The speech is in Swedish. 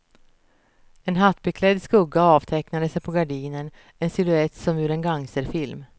En hattbeklädd skugga avtecknade sig på gardinen, en silhuett som ur en gangsterfilm.